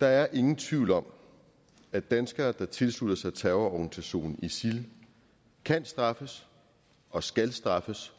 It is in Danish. der er ingen tvivl om at danskere der tilslutter sig terrororganisationen isil kan straffes og skal straffes